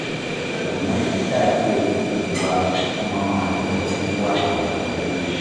Sannan ta iya yiwuwa kuma mu haɗu da 'yan'uwa abokan aiki.